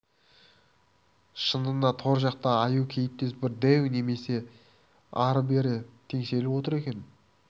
шынында да тор жақта аю кейіптес бір дәу неме ары-бері теңселіп отыр екен